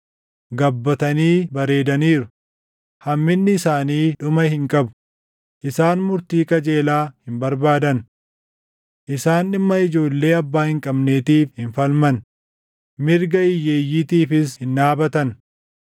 gabbatanii bareedaniiru; hamminni isaanii dhuma hin qabu; isaan murtii qajeelaa hin barbaadan. Isaan dhimma ijoollee abbaa hin qabneetiif hin falman; mirga hiyyeeyyiitiifis hin dhaabatan.